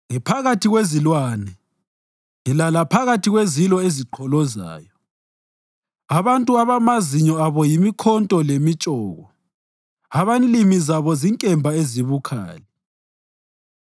Ngiphakathi kwezilwane; ngilala phakathi kwezilo eziqholozayo abantu abamazinyo abo yimikhonto lemitshoko, abanlimi zabo zinkemba ezibukhali.